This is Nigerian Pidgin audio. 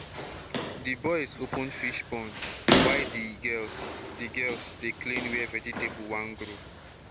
the boys open fish ponds while the girls the girls dey clean where vegetable won grow